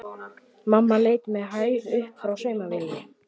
Mamma leit með hægð upp frá saumavélinni.